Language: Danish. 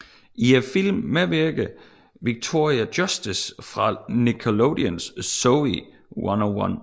I filmen medvirker Victoria Justice fra Nickelodeons Zoey 101